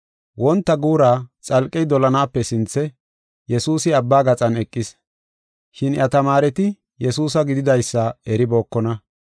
Wonta guura xalqey dolanaape sinthe, Yesuusi abba gaxan eqis, shin iya tamaareti Yesuusa gididaysa eribookona.